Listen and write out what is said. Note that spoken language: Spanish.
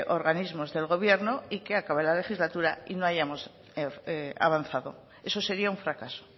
organismos del gobierno y que acabara la legislatura y no hallamos avanzado eso sería un fracaso